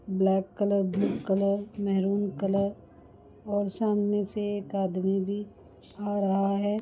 Black colour blue colour maroon colour और सामने से एक आदमी भी आ रहा है।